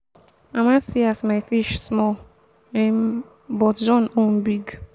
mama see as my fish small um but john own big.